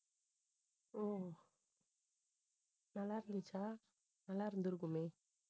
ஓ நல்லா இருந்துச்சா நல்லா இருந்திருக்குமே